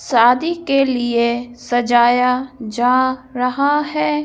शादी के लिए सजाया जा रहा है।